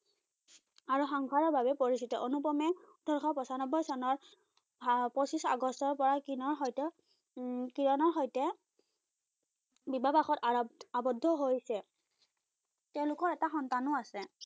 আৰু সংসাৰৰ বাবে পৰিচিত। অনুপমে ওঠৰশ পছান্নবৈ চনত হা পচিছ আগষ্টৰপৰাই কিনৰ সৈতে উম কিৰণৰ সৈতে বিবাহ পাশত আৰ আৱদ্ধ হৈছে। তেওঁলোকৰ এটা সন্তানো আছে।